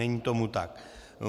Není tomu tak.